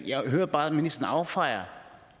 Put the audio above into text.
jeg hører bare at ministeren affejer